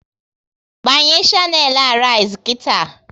Gbanye shanelu Arise nkịta!